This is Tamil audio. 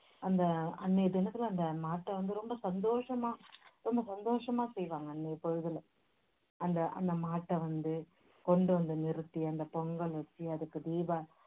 அந்த அன்னைய தினத்துல அந்த மாட்டை வந்து ரொம்ப சந்தோசமா ரொம்ப சந்தோசமா செய்வாங்க அன்னைய பொழுதுல அந்த அந்த மாட்டை வந்து கொண்டு வந்து நிறுத்தி அந்த பொங்கல் வச்சி அதுக்கு தீபா~